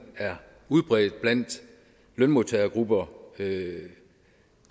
er udbredt blandt lønmodtagergrupper